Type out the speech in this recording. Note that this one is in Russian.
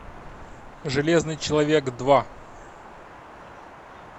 железный человек два